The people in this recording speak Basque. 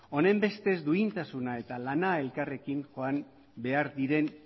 honen beste duintasuna eta lana elkarrekin joan behar diren